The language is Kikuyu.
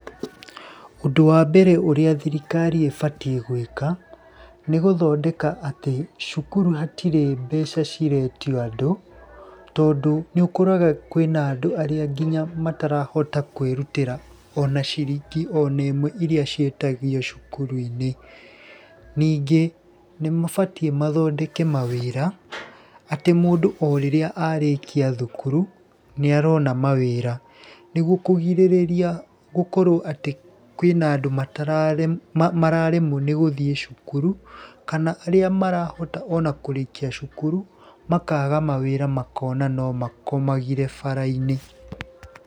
Ũndũ wa mbere ũrĩa thirikari ĩbatiĩ gwĩka, nĩ gũthondeka atĩ cukuru hatirĩ mbeca ciretio andũ, tondũ nĩũkoraga kwĩna andũ arĩa nginya matarahota kwĩrutĩra ona ciringi onemwe iria ciĩtagio cukuru-inĩ. Ningĩ nĩ mabatiĩ mathondeke mawĩram atĩ mũndũ o rĩrĩa arĩkia thukuru nĩ arona mawĩra. Nĩguo kũgirĩrĩria gũkorwo atĩ kwĩna andũ mararemwo nĩ gũthiĩ cukuru, kana arĩa marahota ona kũrĩkia cukuru makaga mawĩra makona no nakomagire bara-inĩ.